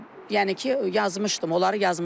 Yəni ki, yazmışdım, onları yazmışdım.